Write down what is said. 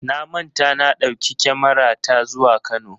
Na manta na ɗauki kyamarata zuwa Kano.